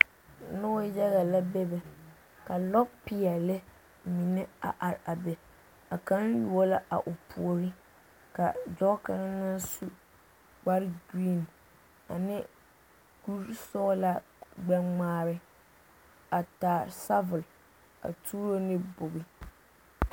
Noba yaga la bebe ka lɔpeɛle mine a are a be, a kaŋ yuo la a o puori ka dɔɔ kaŋ naŋ su kpare giriin ane kuri sɔgelaa kuri gbɛ-ŋmaare a taa sabol a tuuro ne bogi.